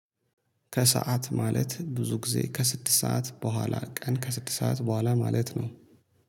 ከሰአት ማለት ብዙ ጊዜ ከስድስት ሰዓት በኋላ ቀን ከስድስት ሰዓት በኋላ ማለት ነው